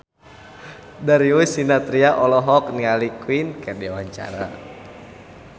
Darius Sinathrya olohok ningali Queen keur diwawancara